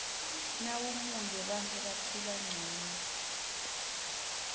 nawumuale bantfu baphila ngcono